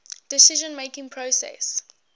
decision making process